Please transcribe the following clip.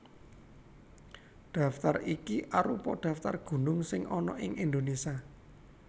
Daftar iki arupa daftar gunung sing ana ing Indonésia